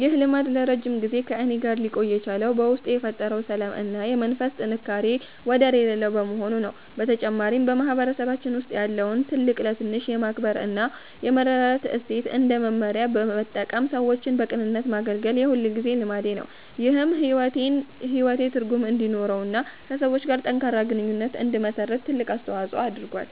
ይህ ልማድ ለረጅም ጊዜ ከእኔ ጋር ሊቆይ የቻለው በውስጤ የፈጠረው ሰላም እና የመንፈስ ጥንካሬ ወደር የሌለው በመሆኑ ነው። በተጨማሪም፣ በማህበረሰባችን ውስጥ ያለውን ትልቅ ለትንሽ የማክበር እና የመረዳዳት እሴት እንደ መመሪያ በመጠቀም ሰዎችን በቅንነት ማገልገል የሁልጊዜ ልማዴ ነው። ይህም ሕይወቴ ትርጉም እንዲኖረውና ከሰዎች ጋር ጠንካራ ግንኙነት እንድመሰርት ትልቅ አስተዋጽኦ አድርጓል።